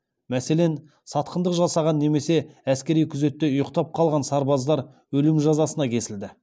мәселен сатқындық жасаған немесе әскери күзетте ұйықтап қалған сарбаздар өлім жазасына кесілді